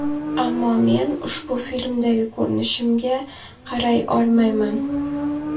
Ammo men ushbu filmdagi ko‘rinishimga qaray olmayman.